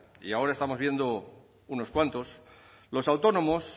y ahora estamos viendo unos cuantos los autónomos